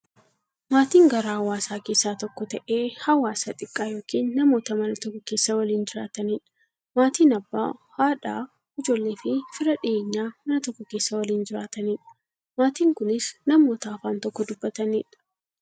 Maatiin garaa hawaasaa keessaa tokko ta'ee, hawaasa xiqqaa yookin namoota Mana tokko keessaa waliin jiraataniidha. Maatiin Abbaa, haadha, ijoolleefi fira dhiyeenyaa, Mana tokko keessaa waliin jiraataniidha. Maatiin kunnis, namoota afaan tokko dubbataniidha.